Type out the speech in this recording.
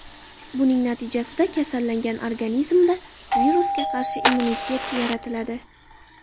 Buning natijasida kasallangan organizmda virusga qarshi immunitet yaratiladi.